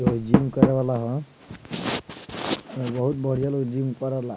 हई जिम करे वाला ह एमे बहुत बढ़िया लोग जिम करेला।